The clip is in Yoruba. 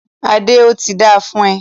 Adé, óti dáa fún ọ